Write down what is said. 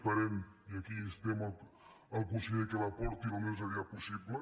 esperem i aquí instem el conseller que la portin al més aviat possible